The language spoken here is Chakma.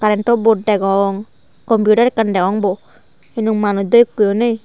current o board degong computer ekkan degong bu hintu manuj dw ekku u ney.